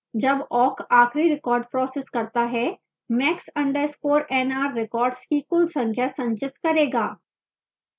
जब awk आखिरी record processing करता है max _ nr records की कुल संख्या संचित करेगा